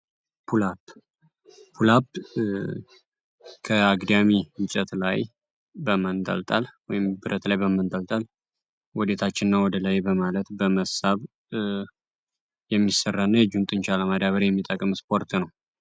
ፑላፕ ፑላፕ የምንለው ከአግዳሚ እንጨት ላይ ወይም ብረት ላይ በመንጠልጠል ወደታችና ወደ ላይ በማለት የሚሰራና የእጅ ጡንቻን ለማጠንከር የሚጠቅም የስፖርት አይነት ነው።